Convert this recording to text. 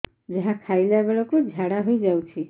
ଯାହା ଖାଇଲା ବେଳକୁ ଝାଡ଼ା ହୋଇ ଯାଉଛି